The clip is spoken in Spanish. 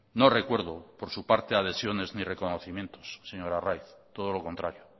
no recuerdo por su parte adhesiones ni reconocimientos señor arraiz todo lo contrario